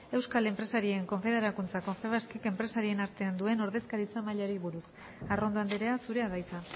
euskal enpresarien konfederakuntza confebaskek enpresarien artean duen ordezkaritza mailari buruz arrondo andrea zurea da hitza